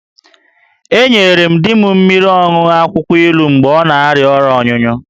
Enyere m di m mmiri ọṅụṅụ akwụkwọ ilu mgbe ọ na-arịa ọrịa ọnyụnyụ